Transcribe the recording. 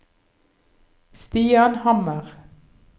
Stian Hammer